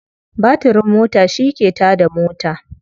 Batirin mota shi ke ta da mota.